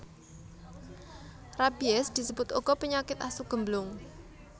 Rabies disebut uga penyakit asu gemblung